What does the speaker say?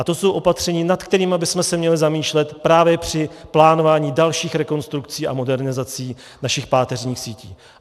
A to jsou opatření, nad kterými bychom se měli zamýšlet právě při plánování dalších rekonstrukcí a modernizací našich páteřních sítí.